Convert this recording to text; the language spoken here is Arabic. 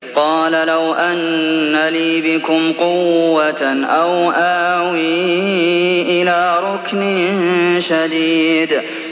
قَالَ لَوْ أَنَّ لِي بِكُمْ قُوَّةً أَوْ آوِي إِلَىٰ رُكْنٍ شَدِيدٍ